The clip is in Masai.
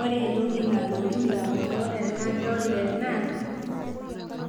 Ore entoki nalotu indamunot tenadol ena